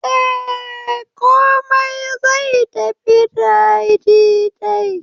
Eh, komai zai tafi dadi dai